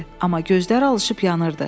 Amma gözləri alışıp yanırdı.